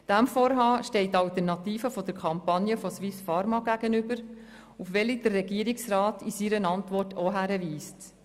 Diesem Vorhaben gegenüber steht als Alternative die Kampagne der pharmaSuisse, auf welche der Regierungsrat in seiner Antwort auch hinweist.